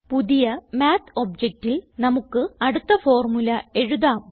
പുതിയ മാത്ത് objectൽ നമുക്ക് അടുത്ത ഫോർമുല എഴുതാം